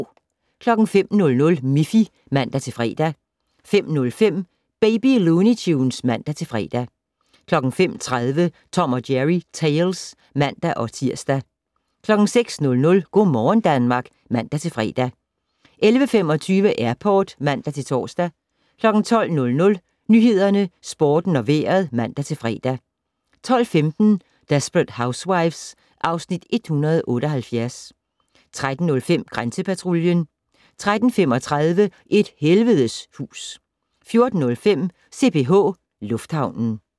05:00: Miffy (man-fre) 05:05: Baby Looney Tunes (man-fre) 05:30: Tom & Jerry Tales (man-tir) 06:00: Go' morgen Danmark (man-fre) 11:25: Airport (man-tor) 12:00: Nyhederne, Sporten og Vejret (man-fre) 12:15: Desperate Housewives (Afs. 178) 13:05: Grænsepatruljen 13:35: Et helvedes hus 14:05: CPH Lufthavnen